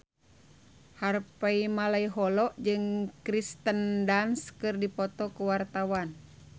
Harvey Malaiholo jeung Kirsten Dunst keur dipoto ku wartawan